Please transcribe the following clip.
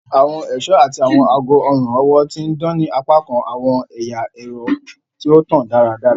Awọn iṣọ ati awọn aago ọrun-ọwọ ti n dan ni apakan awọn ẹya ẹrọ ti o tan daradara.